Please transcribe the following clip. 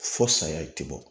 Fo saya ti bɔ